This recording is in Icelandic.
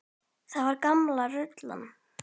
Það var gamla rullan.